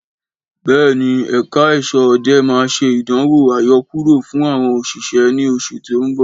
Béèni èeka asọ́ òde máà ṣe ìdánwò àyokúrò fún àwọn òṣìṣẹ́ ní oṣù tí o nbọ